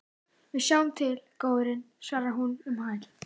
Við sjáum til, góurinn, svarar hún um hæl.